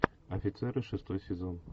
офицеры шестой сезон